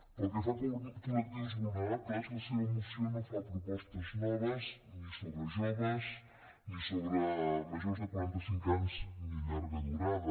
pel que fa a col·lectius vulnerables la seva moció no fa propostes noves ni sobre joves ni sobre majors de quaranta cinc anys ni de llarga durada